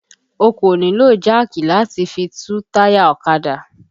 O kò nílò jáàkì láti fi tú táyà ọ̀kadà